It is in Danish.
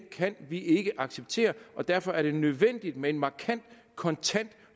kan vi ikke acceptere og derfor er det nødvendigt med en markant kontant